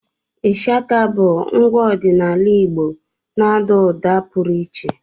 Ishaka bụ ngwa ọdịnala Igbo na-àdá ụda pụrụ iche